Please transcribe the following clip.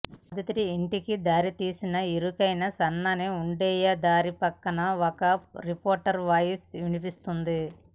బాధితుడి ఇంటికి దారితీసిన ఇరుకైన సన్నగా ఉండేయ దారిపక్కన ఒక రిపోర్టర్ వాయిస్ వినిపిస్తోంది